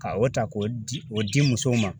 Ka o ta k'o di o di musow ma.